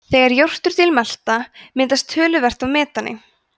þegar jórturdýr melta myndast töluvert af metani